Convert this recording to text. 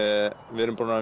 við erum búin að